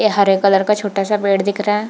ये हरे कलर का छोटा सा पेड़ दिख रहा है ।